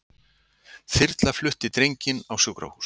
Þyrla flutti drenginn á sjúkrahús